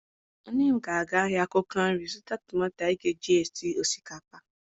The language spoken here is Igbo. Nne m ga-aga ahịa akwụkwọ nri zụta tomato anyị ga-eji sie osikapa.